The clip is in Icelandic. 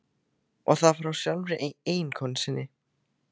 Og það frá sjálfri eiginkonu sinni.